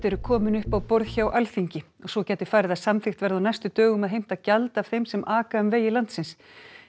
eru komin upp á borð hjá Alþingi svo gæti farið að samþykkt verði á næstu dögum að heimta gjald af þeim sem aka um vegi landsins